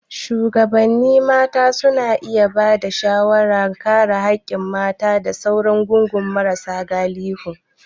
Shugabannin mata suna iya ba da shawarar kare haƙƙin mata da sauran gungun marasa galihu.